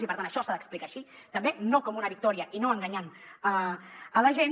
i per tant això s’ha d’explicar així també no com una victòria i no enganyant la gent